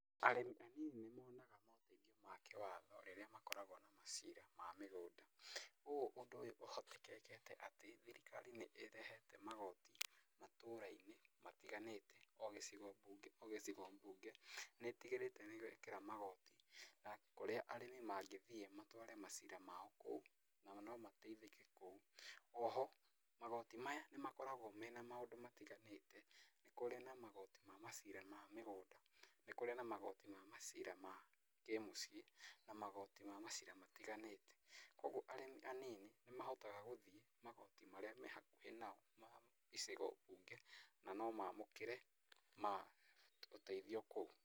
Arĩmi anini nĩ monaga moteithio ma kĩwatho rĩrĩa makoragwo na macira ma mĩgũnda. Ũũ ũndũ ũyũ ũhotekekete atĩ thirikari nĩ ĩrehete magoti matũũra-inĩ matiganĩte, o gĩcigo mbunge o gĩcigo mbunge nĩ ĩtigĩrĩte nĩ gwekĩra magoti na kũrĩa arĩmi mangĩthiĩ matware macira mao kũu nao no mateithĩke kũu. Oho magoti maya nĩ makoragwo mena maũndũ matiganĩte, nĩ kũrĩ na magoti ma macira ma mĩgũnda, nĩ kũrĩ na magoti ma macira ma kĩmũciĩ na magoti ma macira matiganĩte, kuũguo arĩmi anini nĩ mahotaga gũthiĩ magoti marĩa mehakũhĩ nao, ma icigo mbunge na no maamũkĩre ũteithio kũu.